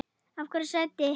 Eða hverju sætti?